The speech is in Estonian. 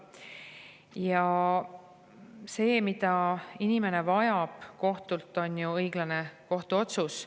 Ja see, mida inimene vajab kohtult, on ju õiglane kohtuotsus.